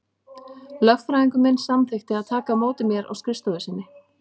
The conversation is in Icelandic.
Lögfræðingur minn samþykkti að taka á móti mér á skrifstofu sinni.